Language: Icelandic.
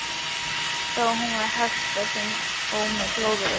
Þó hún væri hölt og með glóðarauga.